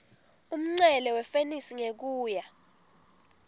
umncele wefenisi ngekuya